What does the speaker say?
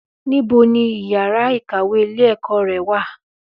Ní bo ni ìyára í kàwé ilé ẹ̀kọ́ ré wà